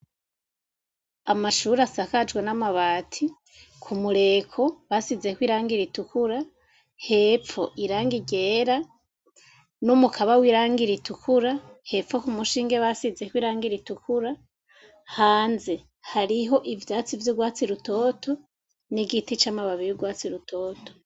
Amashuri asakajwe n'amabati ku mureko basizeko irangira itukura hepfo iranga iryera no mukaba w'irangira itukura hepfo ku mushinge basizeko irangir i tukura hanze hariho ivyatsi vy'urwatsi rutoto n'igiti c'amababiri watsi rutoto.